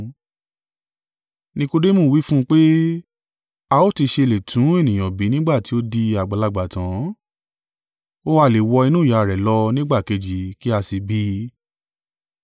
Nikodemu wí fún un pé, a ó ti ṣe lè tún ènìyàn bí nígbà tí ó di àgbàlagbà tan? Ó ha lè wọ inú ìyá rẹ̀ lọ nígbà kejì, kí a sì bí i?